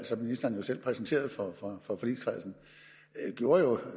som ministeren jo selv præsenterede for forligskredsen